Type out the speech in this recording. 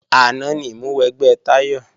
Àná ni ìmúwẹgbẹ́ Táyọ̀